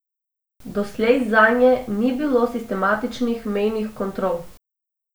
Doslej zanje ni bilo sistematičnih mejnih kontrol.